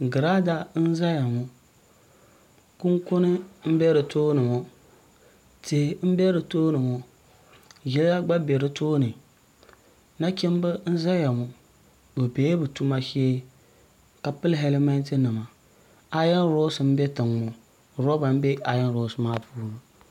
girada n ʒɛya ŋo kunkuni n bɛ di tooni ŋo tihi n bɛ di tooni ŋo ʒɛya gba bɛ di tooni nachimbi n ʒɛya ŋo bi biɛla bi tuma shee ka pili hɛlmɛnt nima aayon roks n doya roba n bɛ aayon roks maa puuni